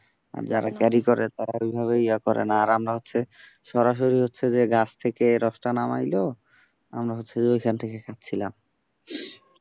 আর যারা carry করে তারা ওই ভাবে ইয়া করে না, আমরা হচ্ছে, সরাসরি হচ্ছে যে গাছ থেকে রস টা নামাইলো আমরা হচ্ছে যে ওখান থেকে খাচ্ছিলাম।